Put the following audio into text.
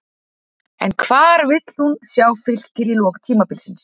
En hvar vil hún sjá Fylkir í lok tímabilsins?